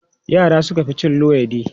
Yara suka fi cin luwaiɗi.